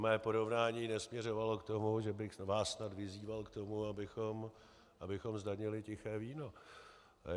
Mé porovnání nesměřovalo k tomu, že bych vás snad vyzýval k tomu, abychom zdanili tiché víno.